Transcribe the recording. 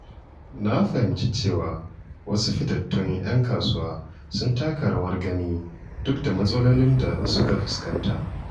Na fahimci cewa wasu fitattun ‘yan kasuwa sun taka rawar gani duk da matsalolin da suka fuskanta.